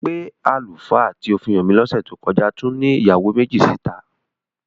Pé àlùfáà tí ó fi hàn mí lọ́sẹ̀ tó kọ́já tún ní ìyàwó méjì síta?